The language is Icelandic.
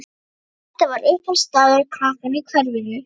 Holtið var uppáhaldsstaður krakkanna í hverfinu.